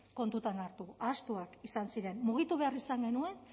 kontuan hartu ahaztuak izan ziren mugitu behar izan genuen